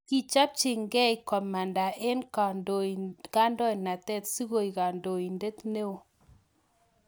Kichopchin gei komanda eng kandoinatet sikoek kandoindet neo